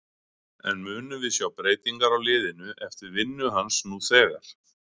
En munum við sjá breytingar á liðinu eftir vinnu hans nú þegar?